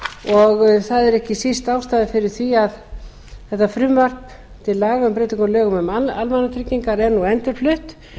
og það er ekki síst ástæðan fyrir því að þetta frumvarp til laga um breytingar á lögum um almannatryggingar er nú endurflutt